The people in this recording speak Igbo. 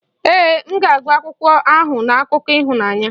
Ee, m ga-agụ akwụkwọ ahụ na akụkọ ịhụnanya